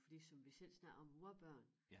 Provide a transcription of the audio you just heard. Fordi som vi selv snakkede om vor børn